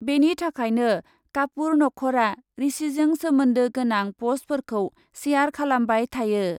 बेनि थाखायनो कापुर नख'रआ ऋषिजों सोमोन्दो गोनां पस्टफोरखौ शेयार खालामबाय थायो ।